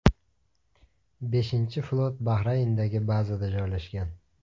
Beshinchi flot Bahrayndagi bazada joylashgan.